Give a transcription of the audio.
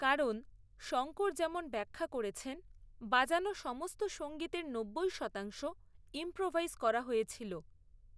কারণ, শঙ্কর যেমন ব্যাখ্যা করেছেন, বাজানো সমস্ত সঙ্গীতের নব্বই শতাংশ ইম্প্রোভাইজ করা হয়েছিল।